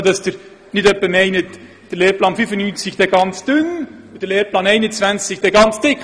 Dies nur, damit Sie nicht etwa meinen, der Lehrplan 95 sei ganz dünn und der Lehrplan 21 ganz dick: